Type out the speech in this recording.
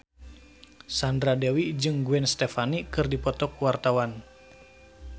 Sandra Dewi jeung Gwen Stefani keur dipoto ku wartawan